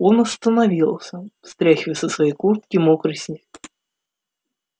он остановился стряхивая со своей куртки мокрый снег